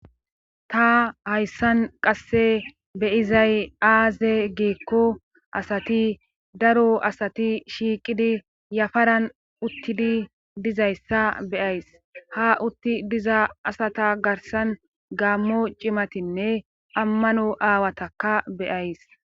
ta hayssan qasse be'izay aaze geekko asati daro asati shiiqidi yafaran uttidi dizayssa be'ays ha utti diza asata garsan gaammo cimatinne ammano aawataka be'ays